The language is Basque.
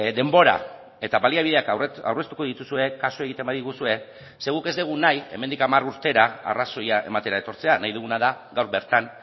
denbora eta baliabideak aurreztuko dituzue kasu egiten badiguzue ze guk ez dugu nahi hemendik hamar urtera arrazoia ematera etortzea nahi duguna da gaur bertan